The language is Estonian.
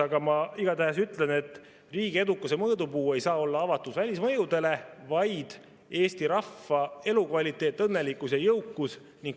Aga ma igatahes ütlen, et riigi edukuse mõõdupuu ei saa olla avatus välismõjudele, vaid Eesti rahva elukvaliteet, õnnelikkus ja jõukus.